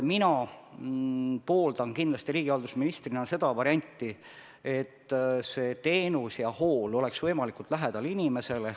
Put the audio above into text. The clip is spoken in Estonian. Mina riigihalduse ministrina pooldan kindlasti seda varianti, et teenus ja hool oleks inimestele võimalikult lähedal.